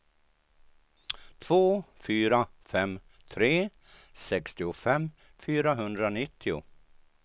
två fyra fem tre sextiofem fyrahundranittio